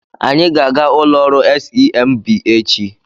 Anyị ga-aga ụlọ ọrụ SEMB echi.